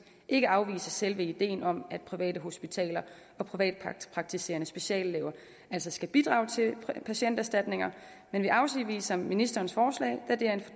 ikke afviser selve ideen om at private hospitaler og privatpraktiserende speciallæger skal bidrage til patienterstatninger men vi afviser ministerens forslag da det er en